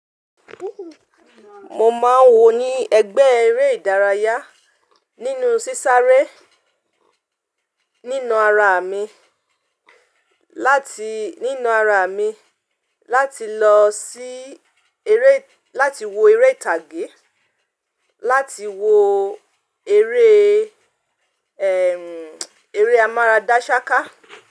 Mo máa wò ní ẹ̀gbẹ́ eré ìdárayá nínú sísáré nínú ara mi láti, nínú ara mi láti lọ sí eré láti wo eré ìtàgé, láti wo eré ẹ, eré amára dáṣáká.